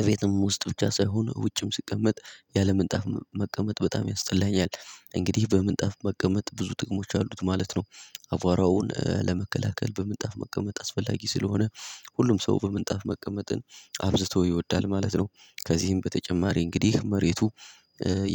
እቤትም ውስጥ ብቻ ሳይሆን ውጭም ስቀመጥ ያለምንጣፍ መቀመጥ በጣም ያስጠላኛል። እንግዲህ በምንጣፍ መቀመጥ ብዙ ጥቅሞች አሉት ማለት ነው። አቧራውን ለመከላከል በምንጣፍ መቀመጥ አስፈላጊ ስለሆነ ሁሉም ሰው በምንጣፍ መቀመጥን አብዝቶ ይወዳል ማለት ነው። ከዚህም በተጨማሪ እንግዲህ መሬቱ